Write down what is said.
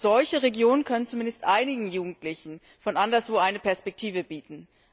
Solche Regionen können zumindest einigen Jugendlichen von anderswo eine Perspektive bieten.